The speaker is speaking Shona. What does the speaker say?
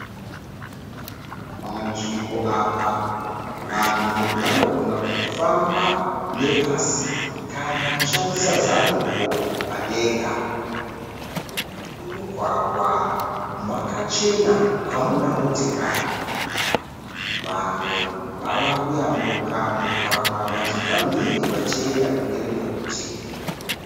Panzvimbo apa vanhu vanogona kufamba nepasi kana kushandisa zambuko padenga mumugwagwa makachena hamuna motokari vanhu vava kuyambuka mugwagwa vachibva mhiri vachienda kune rimwe rutivi.